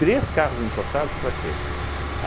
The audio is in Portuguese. Três carros importados para quê?